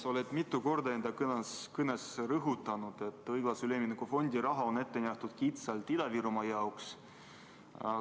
Sa oled mitu korda oma kõnes rõhutanud, et õiglase ülemineku fondi raha on ette nähtud kitsalt Ida-Virumaa jaoks.